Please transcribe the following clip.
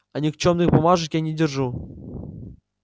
а никчёмных бумажек я не держу